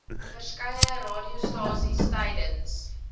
verskeie radiostasies tydens